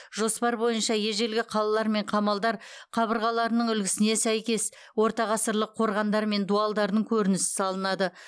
жоспар бойынша ежелгі қалалар мен қамалдар қабырғаларының үлгісіне сәйкес ортағасырлық қорғандар мен дуалдардың көрінісі салынады